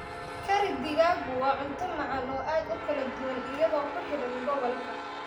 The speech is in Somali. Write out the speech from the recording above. Curry digaaggu waa cunto macaan oo aad u kala duwan iyadoo ku xidhan gobolka.